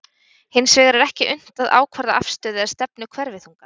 Hins vegar er ekki unnt að ákvarða afstöðu eða stefnu hverfiþungans.